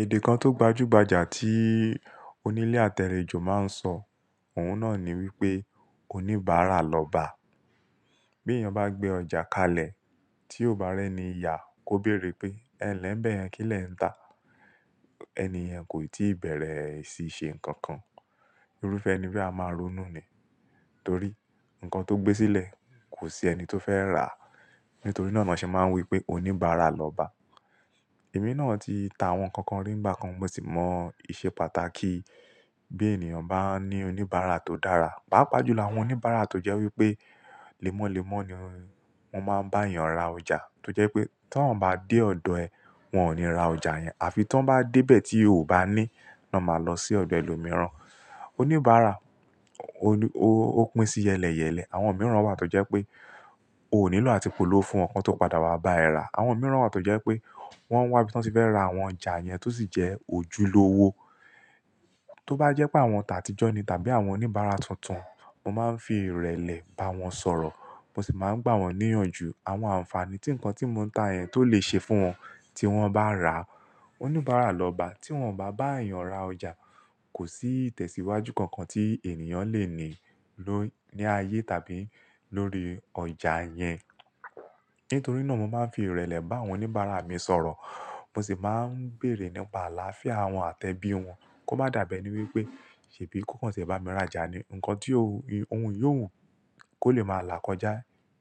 Èdè kan tó gbajúgbajà tí onílé àtalejo máa ń sọ, òun náà ni wípé oníbàárà lọ́ba. Bí èèyàn bá gbé ọjà kalẹ̀ tí ó bá rẹ́ni ya, kó béèrè pé ẹ̀nlẹ́ n bẹ̀yẹn kí lẹ̀ ń tà. Ẹni yen kò ì tí ì bẹ̀rẹ̀ ìṣi nǹkan kan, irúfẹ́ ẹni be a máa ronú ni. Nítorí, nǹkan tó gbé sílẹ̀ kò sí ẹni tó fẹ́ rà á. Nítorí náà ni wọ́n ṣe máa ń wípé oníbàárà lọ́ba. Èmi náà ti ta àwọn nǹkan rí ńigba kan, mo sì mọ ìṣe pàtàkì bí ènìyàn bá ní oníbàárà tó dára. Páápàá jùlọ àwọn oníbàárà tó jẹ́ wípé lemọ́lemọ́ ni wọ́n máa ń bá èèyàn ra ọjà. Tó jẹ́ pé tí wọ́n bá dé ọ̀dọ̀ ẹ, wọn ò ní ra ọjà yẹn. Àfi tí wọ́n bá dé bẹ̀ tí o ò bá ní, ni wọ́n máa lọ sí ọ̀dọ̀ ẹlòmíràn. Oníbàárà ó pín sí yẹ́lẹ̀yẹ́lẹ̀. Àwọn mìíràn wà tó jẹ́ pé o ò nílò àti polówó fún wọn kan tó padà wá bá ẹ rà. Àwọn mìíràn wà tó jẹ́ pé wọ́n wá bí wọ́n ti fẹ́ ra àwọn ọjà yẹn tó sì jẹ́ òjúlówó. Tó bá jẹ́ pé àwọn t'àtijọ́ ni tàbí àwọn oníbàárà tuntun, mo máa ń fi ìrẹ̀lẹ̀ bá wọn sọ̀rọ̀. Mo sì máa ń gbà wọ́n níyànjú àwọn àǹfààní tí nǹkan tí mò ń tà yẹn tó lè ṣe fún wọn tí wọ́n bá rà á. Oníbàárà lọ́ba tí wọ́n ò bá bá èèyàn ra ọjà, kò sí ìtẹ̀síwájú kan kan tí ènìyàn lè ní, ní ayé tàbí lórí ọjà yẹn. Nítorí náà mo máa ń fi ìrẹ̀lẹ̀ bá àwọn oníbàárà mi sọ̀rọ̀. Mo sì máa ń bèèrè nípa àlàáfíà wọn àti ẹbí wọn. Kó má dàbi ení wípé ṣebí kò kàn tí ẹ bá mi rajà ni. Ǹǹkan tí ohun yóò wùn kó lè máa là kọjá.